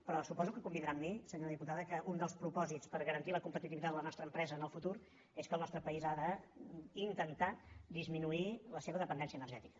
però suposo que convindrà amb mi senyora diputada que un dels propòsits per garantir la competitivitat de la nostra empresa en el futur és que el nostre país ha d’intentar disminuir la seva dependència energètica